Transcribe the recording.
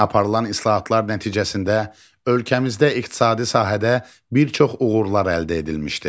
Aparılan islahatlar nəticəsində ölkəmizdə iqtisadi sahədə bir çox uğurlar əldə edilmişdir.